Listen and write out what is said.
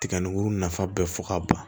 Tiga ni nafa bɛɛ fɔ ka ban